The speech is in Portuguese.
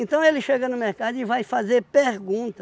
ele chega no mercado e vai fazer pergunta.